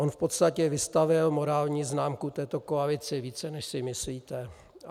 On v podstatě vystavil morální známku této koalici více, než si myslíte.